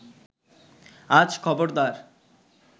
আজ খবরদার